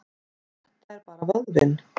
Þetta er bara vöðvinn.